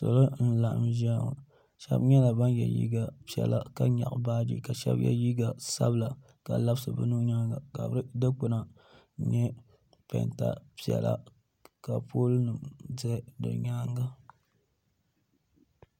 salo n laɣim zaya ŋɔ shɛbi nyɛla ban yɛ liga piɛlla ka nyɛgi baaji ka shɛbi yɛ liga sabila ka labisi be nuhi nyɛŋa ka dɛkpana nyɛ pɛnta piɛla ka polinɛm ʒɛ di nyɛŋa